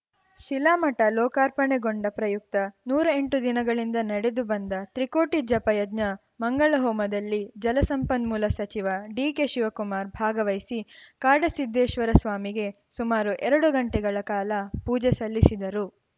ಶಿಲಾಮಠ ಲೋಕಾರ್ಪಣೆಗೊಂಡ ಪ್ರಯುಕ್ತ ನೂರಾ ಎಂಟು ದಿನಗಳಿಂದ ನಡೆದು ಬಂದ ತ್ರಿಕೋಟಿ ಜಪಯಜ್ಞ ಮಂಗಳ ಹೋಮದಲ್ಲಿ ಜಲಸಂಪನ್ಮೂಲ ಸಚಿವ ಡಿಕೆಶಿವಕುಮಾರ್‌ ಭಾಗವಹಿಸಿ ಕಾಡಸಿದ್ದೇಶ್ವರ ಸ್ವಾಮಿಗೆ ಸುಮಾರು ಎರಡು ಗಂಟೆಗಳ ಕಾಲ ಪೂಜೆ ಸಲ್ಲಿಸಿದರು